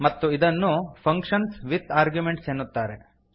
ಮತ್ತು ಇದನ್ನು function with arguments ಎನ್ನುತ್ತಾರೆ